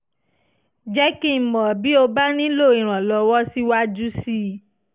jẹ́ kí n mọ̀ bí o bá nílò ìrànlọ́wọ́ síwájú sí i